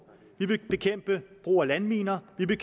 vi vil bekæmpe brug af landminer vi vil